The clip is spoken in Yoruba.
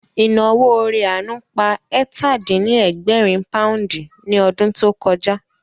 Ìnáwó ore àánú pa ẹ̀tà-dín-ní-ẹgbẹ̀rin pòúndì ní ọdún tó kọjá